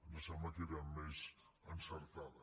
ens sembla que era més encertada